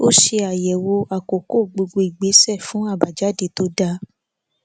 ó ṣe àyẹwò àkókò gbogbo ìgbésẹ fún àbájáde tó dáa